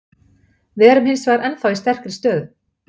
Við erum hins vegar ennþá í sterkri stöðu.